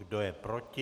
Kdo je proti?